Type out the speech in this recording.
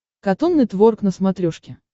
катун нетворк на смотрешке